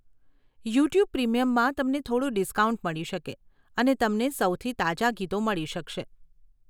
YouTube પ્રીમિયમમાં તમને થોડું ડિસ્કાઉન્ટ મળી શકે અને તમને સૌથી તાજા ગીતો મળી શકશે.